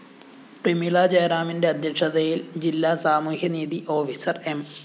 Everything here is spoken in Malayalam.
പ്രമീളജയറാമിന്റെ അധ്യക്ഷതയില്‍ ജില്ലാ സാമൂഹ്യനീതീ ഓഫീസർ എം